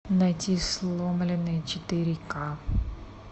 найти сломленные четыре ка